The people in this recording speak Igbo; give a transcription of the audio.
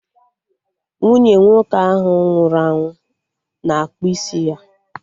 Nwunye nwoke ahụ nwụrụ anwụ na-akpụ isi ya